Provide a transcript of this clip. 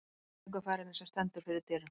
Ameríkuferðinni, sem stendur fyrir dyrum.